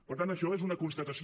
per tant això és una constatació